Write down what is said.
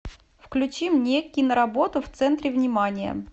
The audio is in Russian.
включи мне киноработу в центре внимания